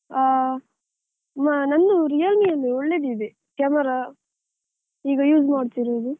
ಆ ನಂದು Realme ಯಲ್ಲಿ ಒಳ್ಳೆದಿದೆ, camera ಈಗ use ಮಾಡ್ತಿರೋದು.